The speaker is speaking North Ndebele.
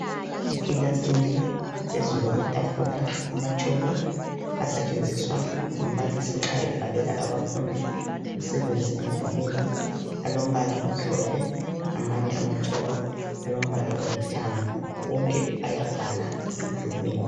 Ekilasini phezulu kwetafula amatshoko asetshenziswa ngumbalisi nxa ebhalela abafundi umsebenzi emdulini alombala omhlophe amanye amatshoko alombala olithanga wonke ayabhala emdulini